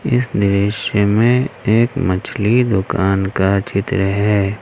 इस दृश्य में एक मछली दुकान का चित्र है।